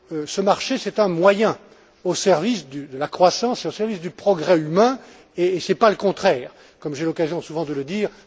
Ce marché, c'est un moyen au service de la croissance et au service du progrès humain, et ce n'est pas le contraire, comme j'ai souvent l'occasion de le dire.